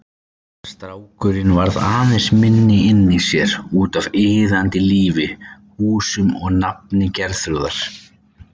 Strákurinn varð aðeins minni inni í sér, útaf iðandi lífi, húsum og nafni Geirþrúðar.